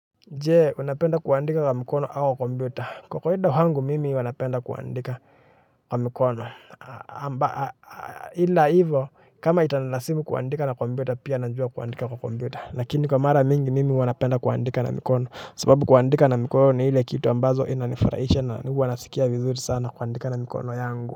Je unapenda kuandika kwa mikono ama kompyuta kwa kawaida kwangu mimi huwa napenda kuandika kwa mikono ila hivyo kama itanilazimu kuandika na kompyuta pia najua kuandika kwa kompyuta lakini kwa mara mingi mimi huwa napenda kuandika na mikono sababu kuandika na mikono ni ile kitu ambazo inanifurahisha na huwa nasikia vizuri sana kuandika na mikono yangu.